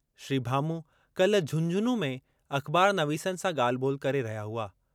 श्री भामू काल्हि झुंझुनूं में अख़बारनवीसनि सां ॻाल्हि ॿोल्हि करे रहिया हुआ।